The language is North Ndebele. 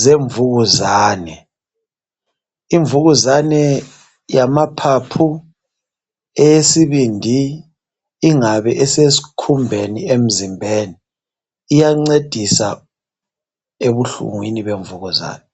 zemvukuzane ,imvukuzane yamaphaphu, esibindini lasesikhumbeni emzimbeni iyancedisa lasebuhlungwini emzimbeni.